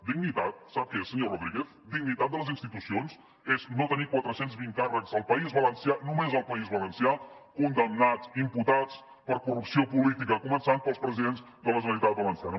dignitat sap què és senyor rodríguez dignitat de les institucions és no tenir quatre cents i vint càrrecs al país valencià només al país valencià condemnats imputats per corrupció política començant pels presidents de la generalitat valenciana